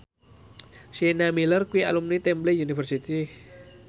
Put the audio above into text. Sienna Miller kuwi alumni Temple University